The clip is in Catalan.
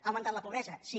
ha augmentat la pobresa sí